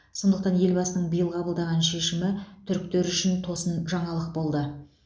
сондықтан елбасының биыл қабылдаған шешімі түріктер үшін тосын жаңалық болды